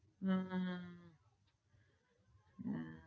હમ